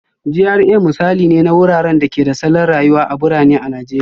GRA misali ne na wuraren da ke da salon rayuwar birane a Najeriya